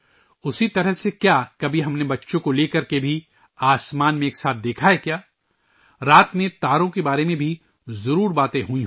اسی طرح کیا ہم نے کبھی آسمان میں بچوں کو ایک ساتھ لے کر دیکھا ہے کیا ؟ رات میں ستاروں کے بارے میں بھی بات ہوئی ہوں